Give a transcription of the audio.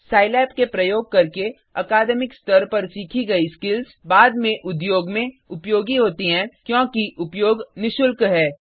Scilab के प्रयोग करके अकादमिक स्तर पर सीखी गई स्किल्स बाद में उद्योग में उपयोगी होती हैं क्योंकि उपयोग निशुल्क है